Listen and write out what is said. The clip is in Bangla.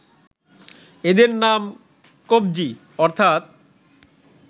এদের নাম ‘Kopje’ অর্থাত্‍